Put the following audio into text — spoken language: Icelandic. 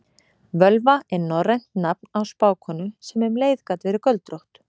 Völva er norrænt nafn á spákonu sem um leið gat verið göldrótt.